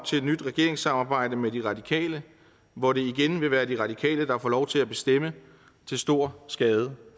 til et nyt regeringssamarbejde med de radikale hvor det igen vil være de radikale der får lov til at bestemme til stor skade